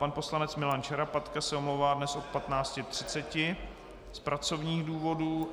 Pan poslanec Milan Šarapatka se omlouvá dnes od 15.30 z pracovních důvodů.